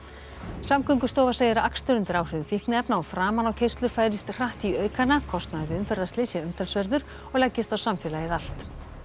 Samgöngustofa segir að akstur undir áhrifum fíkniefna og framanákeyrslur færist hratt í aukana kostnaður við umferðslys sé umtalsverður og leggist á samfélagið allt